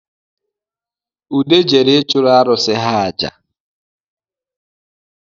Ude jere ịchụrụ arụ̣sị̣ ha aja